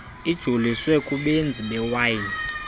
ijoliswe kubenzi bewayini